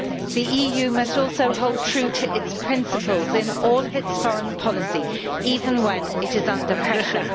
The EU must also hold true to its principles in all of its foreign policy, even when it is under pressure.